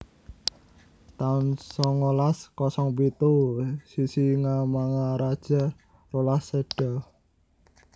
taun songolas kosong pitu Sisingamangaraja rolas séda